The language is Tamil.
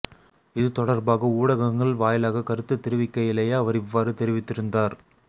இது தொடர்பாக ஊடகங்கள் வாயிலாக கருத்துத் தெரிவிக்கையிலேயே அவர் இவ்வாறு தெரிவித்திருந்தார்